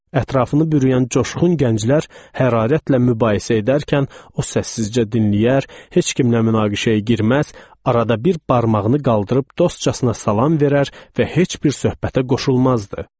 Ətrafını bürüyən coşqun gənclər hərarətlə mübahisə edərkən, o səssizcə dinləyər, heç kimlə mübahisəyə girməz, arada bir barmağını qaldırıb dostcasına salam verər və heç bir söhbətə qoşulmazdı.